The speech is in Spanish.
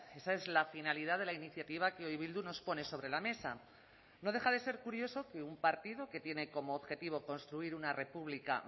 esa es la finalidad de la iniciativa que hoy bildu nos pone sobre la mesa no deja de ser curioso que un partido que tiene como objetivo construir una república